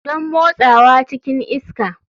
Don motsawa cikin iska.